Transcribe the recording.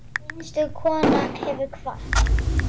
Einstök kona hefur kvatt.